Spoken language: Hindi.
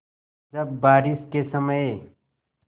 जब बारिश के समय